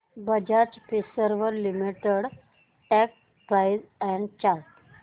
Bajaj Finserv limited stock price and chart